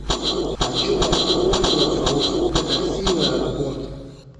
хочу воспользоваться услугой такси в аэропорт